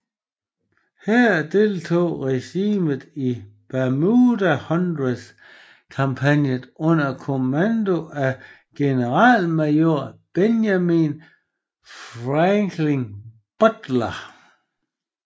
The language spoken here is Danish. Her deltog regimentet i Bermuda Hundred kampagnen under kommando af Generalmajor Benjamin Franklin Butler